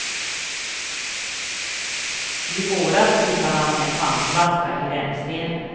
I våras hittade han en pantflaska i rännstenen.